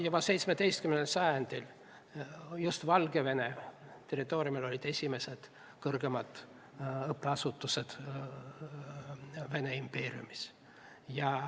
Juba 17. sajandil olid just Valgevene territooriumil esimesed kõrgemad õppeasutused Vene impeeriumis.